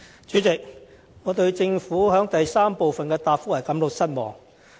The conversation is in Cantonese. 主席，我對政府主體答覆的第三部分感到失望。